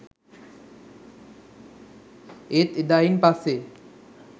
ඒත් එදායින් පස්සේ